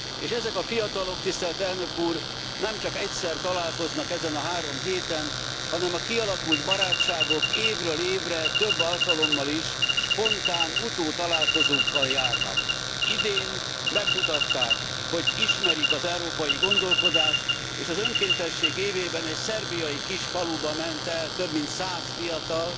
És ezek a fiatalok, nem csak egyszer találkoznak ezen a három héten, hanem a kialakult barátságok évről évre több alkalommal is spontán utótalálkozókkal járnak. Idén megmutatták, hogy ismerik az európai gondolkodást, és az önkéntesség évében egy szerbiai kis faluba ment el több mint száz fiatal,